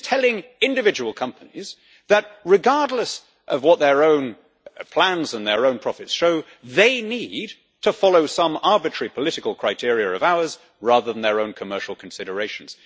This is telling individual companies that, regardless of what their own plans and their own profits show, they need to follow some arbitrary political criteria of ours rather than their own commercial considerations.